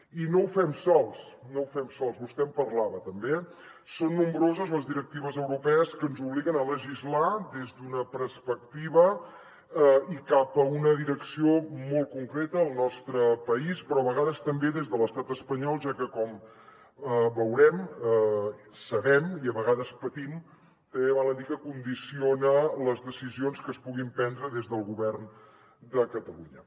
i no ho fem sols vostè en parlava també eh són nombroses les directives europees que ens obliguen a legislar des d’una perspectiva i cap a una direcció molt concreta al nostre país però a vegades també des de l’estat espanyol ja que com veurem sabem i a vegades patim també val a dir que condiciona les decisions que es puguin prendre des del govern de catalunya